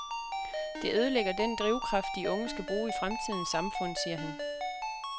Det ødelægger den drivkraft, de unge skal bruge i fremtidens samfund, siger han.